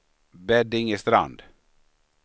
Beddingestrand